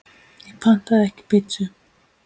Ég pantaði ekki pítsu